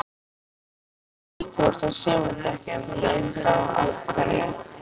Hjördís: Þú ert á sumardekkjunum enn þá, af hverju?